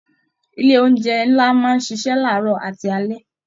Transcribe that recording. Ilé oúnjẹ nlá máa n ṣiṣẹ laarọ àti alẹ́.